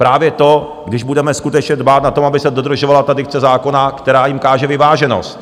Právě to, když budeme skutečně dbát na to, aby se dodržovala ta dikce zákona, která jim káže vyváženost.